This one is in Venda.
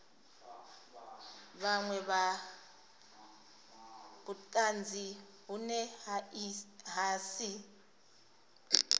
vhunwe vhutanzi vhune ha si